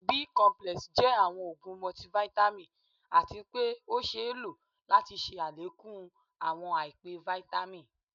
Bi complex jẹ awọn òógun multivitamin atí pé ọ ṣéé lo láti ṣe àlékún awọn àìpé Vitamin